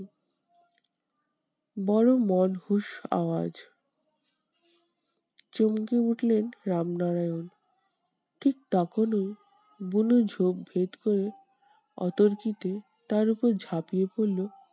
বড় আওয়াজ। চমকে উঠলেন রামনারায়ণ। ঠিক তখনই বুনো ঝোপ ভেদ করে অতর্কিতে তার উপর ঝাঁপিয়ে পড়লো